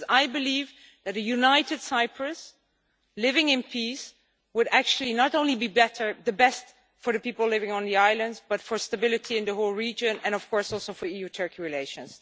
I believe that a united Cyprus living in peace would actually not only be best for the people living on the islands but for stability in the whole region and, of course, also for EU-Turkey relations.